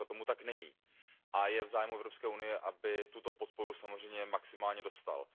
Dneska tomu tak není a je v zájmu Evropské unie, aby tuto podporu samozřejmě maximálně dostal.